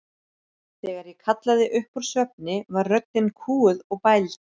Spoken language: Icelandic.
Þegar ég kallaði upp úr svefni var röddin kúguð og bæld.